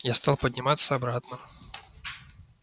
я стал подниматься обратно